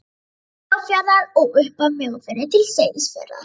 Mjóafjarðar og upp af Mjóafirði til Seyðisfjarðar.